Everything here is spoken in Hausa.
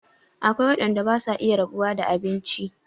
Akwai waɗanda basu iya rabuwa da abinci